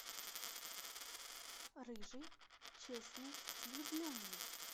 рыжий честный влюбленный